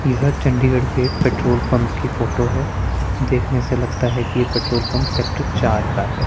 यह चंडीगढ़ के petrol pump की फोटो है देखने से लगता है कि ये पेट्रोल पंप सेक्टर चार का है।